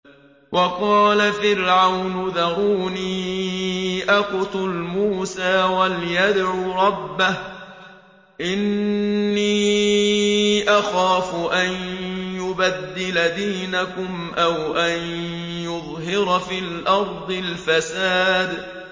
وَقَالَ فِرْعَوْنُ ذَرُونِي أَقْتُلْ مُوسَىٰ وَلْيَدْعُ رَبَّهُ ۖ إِنِّي أَخَافُ أَن يُبَدِّلَ دِينَكُمْ أَوْ أَن يُظْهِرَ فِي الْأَرْضِ الْفَسَادَ